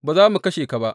Ba za mu kashe ka ba.